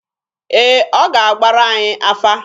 Ee, ọ ga-agbara anyị afa.